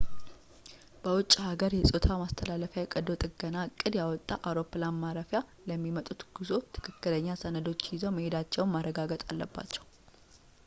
በውጭ አገር የ ፆታ ማስተላለፍ የቀዶ ጥገና ዕቅድ ያወጣ አውሮፕላን ማረፊያ ለሚመጡት ጉዞ ትክክለኛ ሰነዶች ይዘው መሄዳቸውን ማረጋገጥ አለባቸው